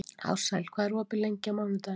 Ársæl, hvað er opið lengi á mánudaginn?